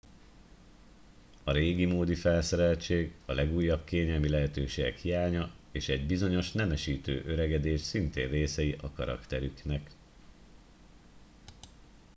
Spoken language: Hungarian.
a régimódi felszereltség a legújabb kényelmi lehetőségek hiánya és egy bizonyos nemesítő öregedés szintén részei a karakterüknek